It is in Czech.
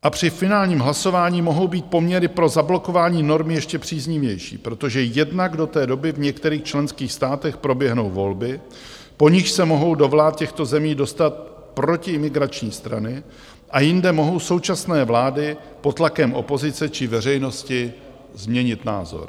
A při finálním hlasování mohou být poměry pro zablokování normy ještě příznivější, protože jednak do té doby v některých členských státech proběhnou volby, po nichž se mohou do vlád těchto zemí dostat protiimigrační strany, a jinde mohou současné vlády pod tlakem opozice či veřejnosti změnit názor.